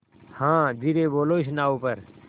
हाँ धीरे बोलो इस नाव पर